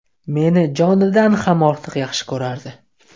Meni jonidan ham ortiq yaxshi ko‘rardi.